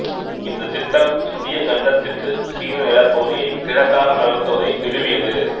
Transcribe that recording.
இந்த்த் திட்டம் இந்தியக் கண்டத்திட்டு சீன நிலப் பகுதியை கிழக்காக நகர்த்துவதை நிறுவியது